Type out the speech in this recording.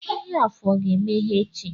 Ahịa afọ ga-emeghe echi